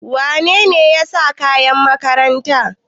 Wane ne ya sa kayan makaranta?